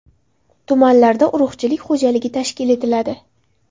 Tumanlarda urug‘chilik xo‘jaligi tashkil etiladi.